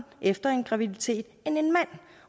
efter en graviditet end en mand